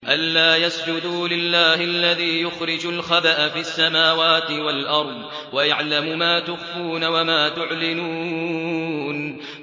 أَلَّا يَسْجُدُوا لِلَّهِ الَّذِي يُخْرِجُ الْخَبْءَ فِي السَّمَاوَاتِ وَالْأَرْضِ وَيَعْلَمُ مَا تُخْفُونَ وَمَا تُعْلِنُونَ